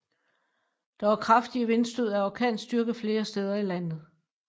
Der var kraftige vindstød af orkanstyrke flere steder i landet